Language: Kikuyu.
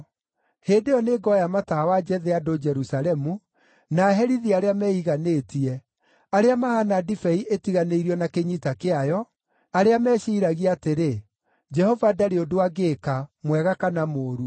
Hĩndĩ ĩyo nĩngoya matawa njethe andũ Jerusalemu, na herithie arĩa meiganĩtie, arĩa mahaana ndibei ĩtiganĩirio na kĩnyita kĩayo, arĩa meciiragia atĩrĩ, ‘Jehova ndarĩ ũndũ angĩĩka, mwega kana mũũru.’